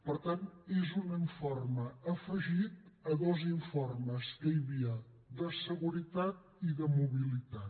per tant és un informe afegit a dos informes que hi havia de seguretat i de mobilitat